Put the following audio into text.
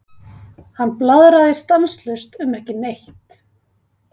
Hann blaðraði stanslaust um ekki neitt.